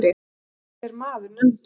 Mörður er maður nefndur.